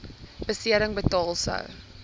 besering betaal sou